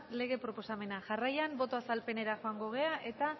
lege proposamena jarraian boto azalpenera joango gara eta